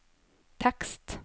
tekst